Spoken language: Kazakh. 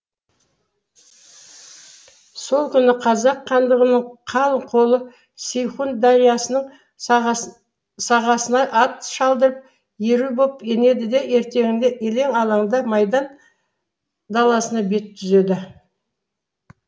сол күні қазақ хандығының қалың қолы сейхун дариясының сағасына ат шалдырып еру боп түнеді де ертеңінде елең алаңда майдан даласына бет түзеді